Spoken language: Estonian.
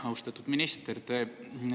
Austatud minister!